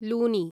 Luni